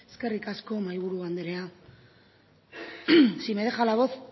eskerrik asko mahaiburu andrea si me deja la voz